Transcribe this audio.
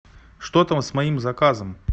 что там с моим заказом